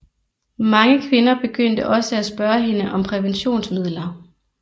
Mange kvinder begyndte også at spørge hende om præventionsmidler